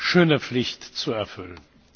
schöne Pflicht zu erfüllen.